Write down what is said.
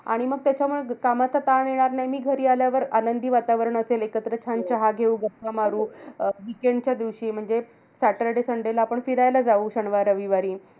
आणि मग त्याच्यामुळे कामाचा ताण येणार नाही. मी घरी आल्यावर आनंदी वातावरण असेल, एकत्र छान चहा घेऊ. गप्पा मारू. अं weekend च्या दिवशी म्हणजे saturday sunday ला आपण फिरायला जाऊ शनिवार, रविवारी.